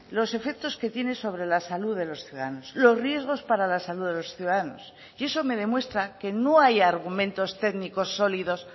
los efectos que tiene sobre la salud de los ciudadanos los riesgos para la salud de los ciudadanos y eso me demuestra que no hay argumentos técnicos sólidos